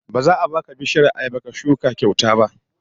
Ba za a baka bishiyar ayaba ka shuka kyauta ba